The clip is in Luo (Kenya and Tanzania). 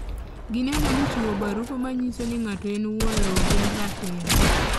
Gineno ni chiwo barupe manyisoni nga'ato en wuon lowo gin ratiro.